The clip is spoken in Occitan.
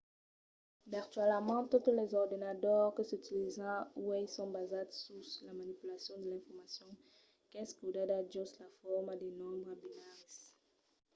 virtualament totes los ordenadors que s’utilizan uèi son basats sus la manipulacion de l’informacion qu'es codada jos la forma de nombres binaris